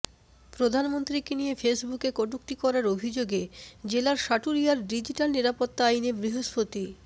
প্রধানমন্ত্রীকে নিয়ে ফেসবুকে কটূক্তি করার অভিযোগে জেলার সাটুরিয়ায় ডিজিটাল নিরাপত্তা আইনে বৃহস্পতি